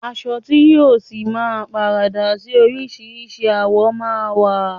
Aṣọ ti yìí ọ sí máa paradà síí orisirisi àwọ̀ ma wa.